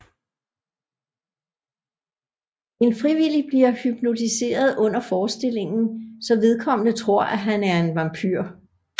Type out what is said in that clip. En frivillig bliver hypnotiseret under forestillingen så vedkommende tror at han er en vampyr